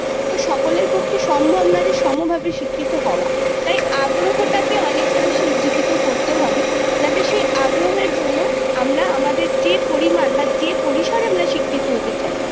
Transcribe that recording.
সকলের পক্ষে সম্ভব নয় যে সমভাবে শিক্ষিত হওয়া তাই আগ্রহটাকে অনেকটা বেশি উজ্জীবিত করতে হবে যাতে সে আগ্রহের জন্য আমরা আমাদের যে পরিমান বা যে পরিসরে আমরা শিক্ষিত হতে চাই